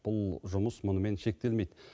бұл жұмыс мұнымен шектелмейді